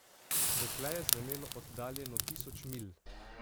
Dekle je zvenelo oddaljeno tisoč milj.